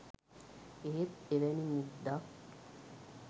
එහෙත් එවැනි මුද්දක්